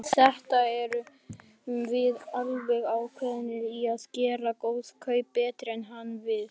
Í þetta sinn erum við alveg ákveðin í að gera góð kaup, bætir hann við.